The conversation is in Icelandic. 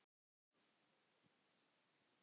Þekkið þér þessa stúlku?